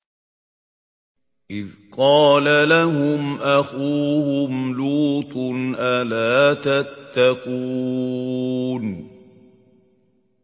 إِذْ قَالَ لَهُمْ أَخُوهُمْ لُوطٌ أَلَا تَتَّقُونَ